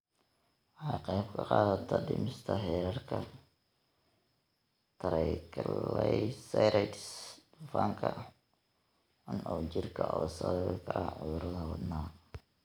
Waxay ka qaybqaadataa dhimista heerarka triglycerides, dufanka xun ee jirka oo sababi kara cudurrada wadnaha.